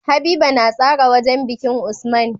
Habiba na tsara wajan bikin usman